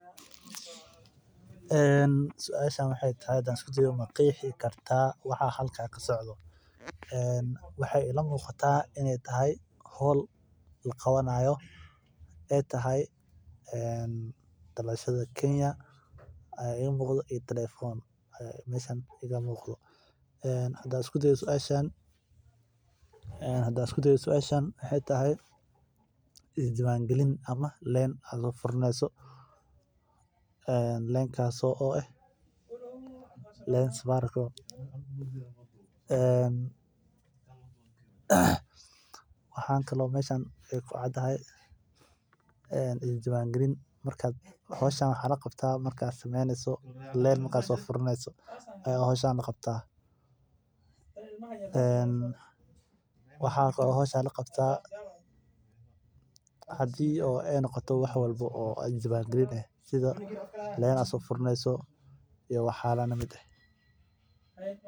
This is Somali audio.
Suasha waxeey tahay ma qeexi kartaa waxa halkan kasocdo waxa ila tahay howl laqabanayo dalashada kenya iyo telefon hadaan isku dayo waxaa waye is diiban galin ama leen adhiga oo furanayo waxa ku cad is diiban galin howshan waxaa la qabtaa marki aad leen furaneysid.